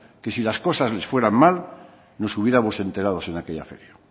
que si las cosas les fueran mal nos hubiéramos enterado en aquella feria